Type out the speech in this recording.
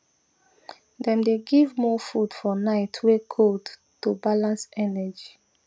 dem dey give more food for night way cold to balance energy